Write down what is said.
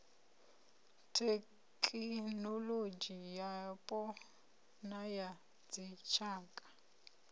thekinolodzhi yapo na ya dzitshaka